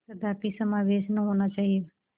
कदापि समावेश न होना चाहिए